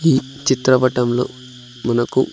ఈ చిత్రపటంలో మనకు.